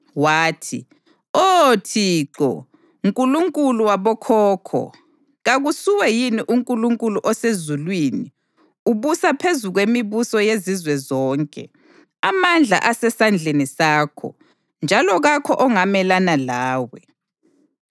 wathi, “Oh Thixo, Nkulunkulu wabokhokho, kakusuwe yini uNkulunkulu osezulwini? Ubusa phezu kwemibuso yezizwe zonke. Amandla asesandleni sakho, njalo kakho ongamelana lawe.